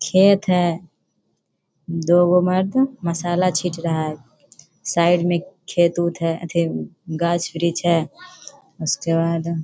खेत है। दो वो मर्द मसाला छीट रहा है। साइड में खेत उत है अथि गाछ विरिच है। उसके बाद --